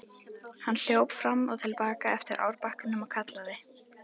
Hann hljóp fram og til baka eftir árbakkanum og kallaði.